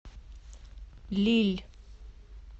лилль